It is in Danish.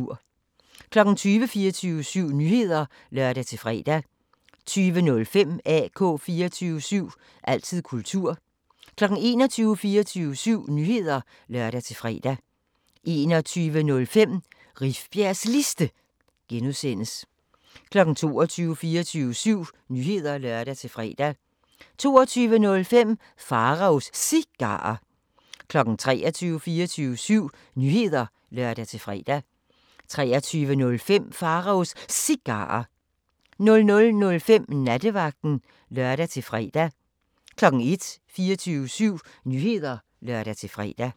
20:00: 24syv Nyheder (lør-fre) 20:05: AK 24syv – altid kultur 21:00: 24syv Nyheder (lør-fre) 21:05: Rifbjergs Liste (G) 22:00: 24syv Nyheder (lør-fre) 22:05: Pharaos Cigarer 23:00: 24syv Nyheder (lør-fre) 23:05: Pharaos Cigarer 00:05: Nattevagten (lør-fre) 01:00: 24syv Nyheder (lør-fre)